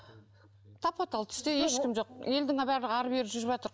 тапа тал түсте ешкім жоқ елдің барлығы ары бері жүріватыр